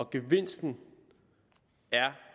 gevinsten er